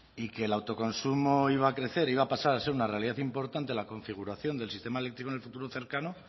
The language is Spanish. y que el autoconsumo iba a crecer iba a pasar a ser una realidad importante en la configuración del sistema eléctrico en el futuro cercano